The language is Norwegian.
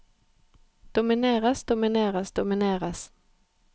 domineres domineres domineres